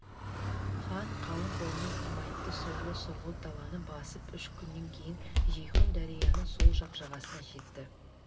хан қалың қолымен құмайтты сорлы сұрғылт даланы басып үш күннен кейін жейхун дарияның сол жақ жағасына жетті